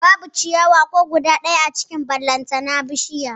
Babu ciyawa ko guda ɗaya a cikin gonar ballantana bishiya